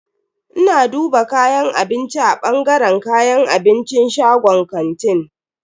Ina duba kayan abinci a bangaren kayan abincin shagon kantin.